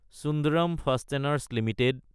Sundram fasteners Ltd